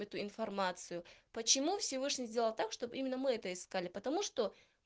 эту информацию почему всевышний сделал так чтоб именно мы это искали потому что